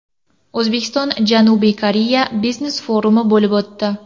O‘zbekiston – Janubiy Koreya biznes-forumi bo‘lib o‘tdi.